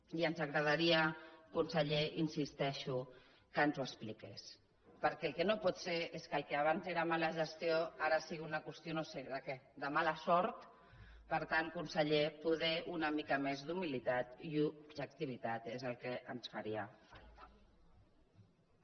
i ens agradaria conseller hi insisteixo que ens ho expliqués perquè el que no pot ser és que el que abans era mala gestió ara sigui una qüestió no ho sé de què de mala sort per tant conseller poder una mica més d’humilitat i d’objectivitat és el que ens faria falta